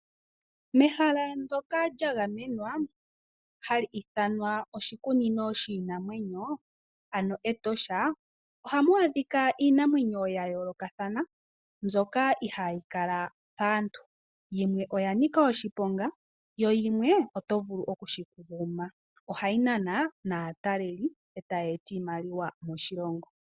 Mehala ndjoka lyagamenwa hali ithanwa oshikunino shinamwenyo ano Etosha, ohamu adhika iinamwenyo yayoolokathana mbyoka ihayi kala paantu, yimwe oyanika oshiponga yo yimwe oto vulu okuyi guma, ohayi nana naataleli e tayi eta iimaliwa moshilongo.